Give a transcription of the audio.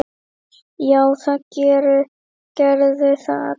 Já, það gerðu það allir.